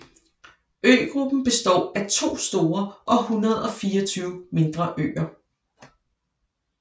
Øgruppen består af to store og 124 mindre øer